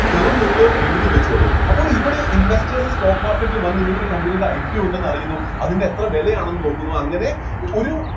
term നിങ്ങള് എഴുതിവെച്ചോളു അപ്പോള് ഇവിടെ investors stock market ല് വന്ന് ഇങ്ങനെ ഒരു company യുടെ IPO ഉണ്ടെന്ന് അറിയുന്നു അതിൻ്റെ എത്ര വിലയാണെന്ന് നോക്കുന്നു അങ്ങനെ ഒരു